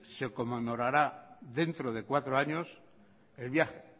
se conmemorará dentro de cuatro años el viaje